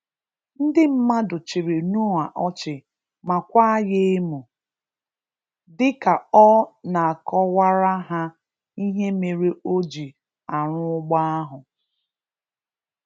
Ndị mmadụ chịrị Noah ọchị ma kwaa ya emu dịka Ọ na-akọwara ha ihe mere o ji arụ ụgbọ ahụ.